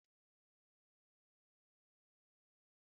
Ana eji azụ ọkpọr esi ofe